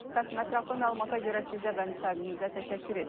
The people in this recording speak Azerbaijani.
Qasım, ətraflı məlumata görə sizə və müsahibinizə təşəkkür.